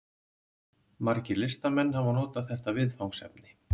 Margir listamenn hafa notað þetta viðfangsefni.